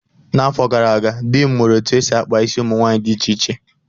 N'afọ gara aga, di m mụrụ etu esi-akpa isi ụmụ nwaanyị dị iche iche